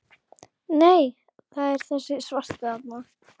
Nei, það er þessi svarti þarna!